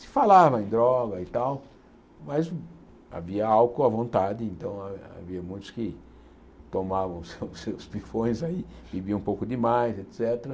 Se falava em droga e tal, mas havia álcool à vontade, então ha havia muitos que tomavam seus seus pifões aí, bebiam um pouco demais, et cétera.